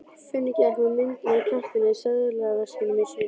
Finnur gekk með mynd af Kjartani í seðlaveskinu sínu.